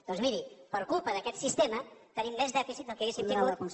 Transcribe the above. doncs miri per culpa d’aquest sistema tenim més dèficit del que hauríem tingut